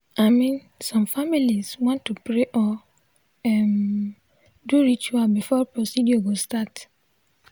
i min some familiz wan to pray or um do ritual before procedure go start.